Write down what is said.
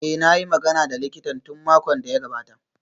Eh, na yi magana da likitan tun makon da ya gabata